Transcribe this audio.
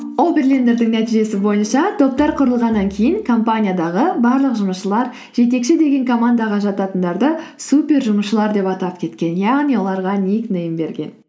оберлендердің нәтижесі бойынша топтар құрылғаннан кейін компаниядағы барлық жұмысшылар жетекші деген командаға жататындарды супер жұмысшылар деп атап кеткен яғни оларға ник нейм берген